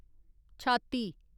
छाती